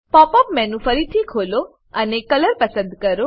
pop up menu ફરીથી ખોલો અને કલર પસંદ કરો